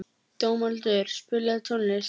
Dómaldur, spilaðu tónlist.